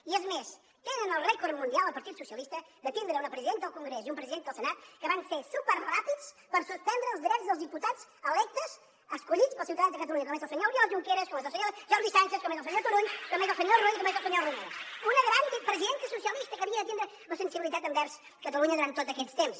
i és més tenen el rècord mundial el partit dels socialistes de tindre una presidenta al congrés i un president al senat que van ser superràpids per suspendre els drets dels diputats electes escollits pels ciutadans de catalunya com és el senyor oriol junqueras com és el senyor jordi sànchez com és el senyor turull com és el senyor rull i com és el senyor romeva una gran presidenta socialista que havia de tindre la sensibilitat envers catalunya durant tots aquests temps